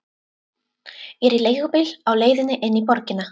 Ég er í leigubíl á leiðinni inn í borgina.